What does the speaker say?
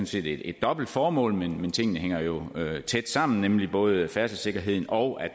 set et dobbelt formål men tingene hænger jo tæt sammen både færdselssikkerheden og